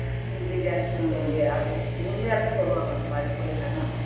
உண்மையாலுமே சொல்லுவாங்க அந்தமாரி புள்ளைங்க